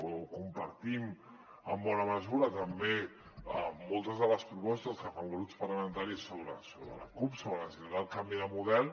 o compartim en bona mesura també moltes de les propostes que fan grups parlamentaris la cup sobre la necessitat del canvi de model